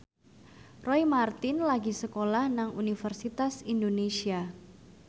Roy Marten lagi sekolah nang Universitas Indonesia